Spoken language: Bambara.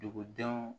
Dugudenw